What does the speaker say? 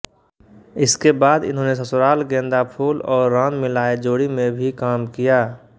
इसके बाद इन्होंने ससुराल गेंदा फूल और राम मिलाये जोड़ी में भी काम किया